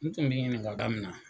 N tun bi ɲininka min na